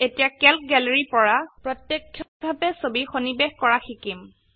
এতিয়া Calc gallery পৰা প্ৰত্যক্ষভাবে ছবি সন্নিবেশ কৰা শিকিম